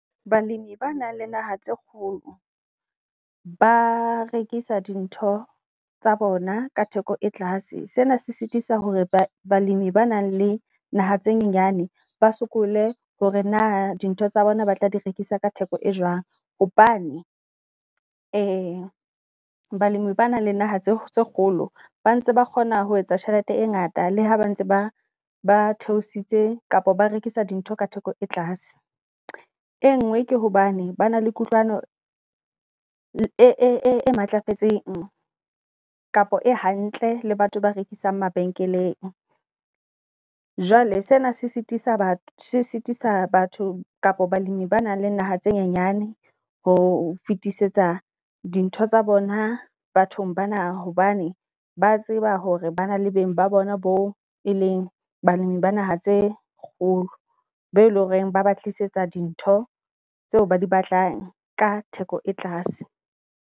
Balemi ba nang le naha tse kgolo ba rekisa di ntho tsa bona ka theko e tlase. Sena se sitisa hore balemi ba nang le naha tse nyenyane ba sokole hore na di ntho tsa bona ba tla di rekisa ka theko e jwang. Hobane balemi ba nang le naha tse kgolo ba ntse ba kgona ho etsa tjhelete e ngata le ha ba ntse ba ba theositse kapa ba rekisa di ntho ka theko e tlase. E ngwe ke hobane ba na le kutlwano e matlafetseng kapa e hantle le batho ba rekisang mabenkeleng. Jwale sena se sitisa batho se sitisa batho kapo balemi ba nang le naha tse nyenyane ho fetisetsa di ntho tsa bona bathong bana. Hobane ba tseba hore ba na le beng ba bona boo e leng balemi ba naha tse kgolo, be leng hore ba ba tlisetsa di ntho tseo ba di batlang ka theko e tlase.